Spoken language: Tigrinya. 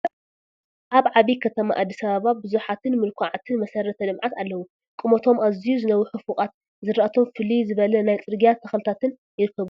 ኣብ ዓብይ ከተማ ኣዲስ ኣበባ ብዙሓትን ምሉኩዓትን መሰረተ ልምዓት ኣለው፡፡ ቁመቶም ኣዝዩ ዝነውሑ ፎቓት፣ ዝራእቶም ፍልይ ዝበለ ናይ ፅርግያ ተኽልታትን ይርከብዎም፡፡